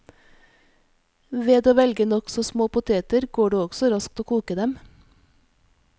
Ved å velge nokså små poteter, går det også raskt å koke dem.